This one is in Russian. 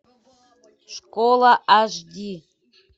школа аш ди